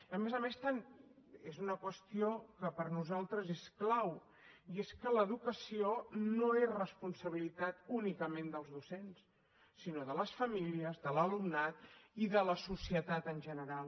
a més a més és una qüestió que per nosaltres és clau i és que l’educació no és responsabilitat únicament dels docents sinó de les famílies de l’alumnat i de la societat en general